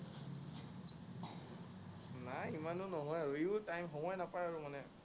নাই ইমানতো নহয় আৰু, সিও time সময় নাপায় আৰু মানে।